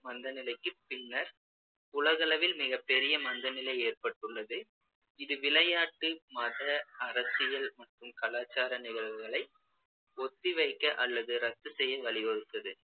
மந்தநிலைக்குப் பின்னர் உலகளவில் மிகப்பெரிய மந்தநிலை ஏற்பட்டுள்ளது இது விளையாட்டு, மத, அரசியல் மற்றும் கலாச்சார நிகழ்வுகளை ஒத்திவைக்க அல்லது ரத்து செய்ய வழிவகுத்தது